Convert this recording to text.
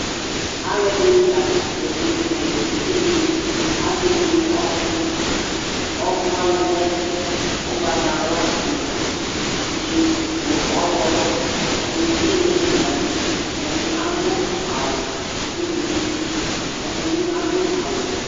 Alʋɛdìní la ŋtɛ tsʋe ŋu ɛmɛ, evidze ni Akewele ɔku Ɔku waŋi lɛ ugbatawla ŋu ʋgli ŋu ɔwlɔmɔ Ɛɖìní kewele gaze Ɛɖì aɖu awu ʋgli Ɛɖìbi aɖu awu wɛ